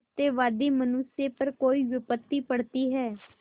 सत्यवादी मनुष्य पर कोई विपत्त पड़ती हैं